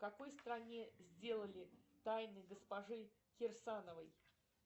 в какой стране сделали тайны госпожи кирсановой